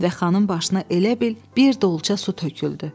Və xanın başına elə bil bir dolça su töküldü.